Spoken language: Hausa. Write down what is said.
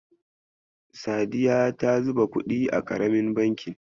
Sadiya ta zuba kuɗi a ƙaramin bankin.